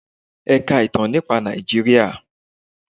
Ẹ ka ìtàn nípa Nàìjíríà!